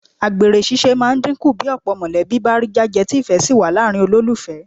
Àgbèrè ṣíṣe máa dínkù bí ọ̀pọ̀ mọ̀lẹ́bí bá rí jájẹ tí ìfẹ́ sì wà láàrin olólùfẹ́